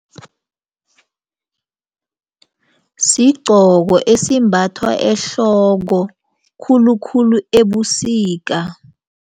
Sigqoko esimbathwa ehloko khulukhulu ebusika.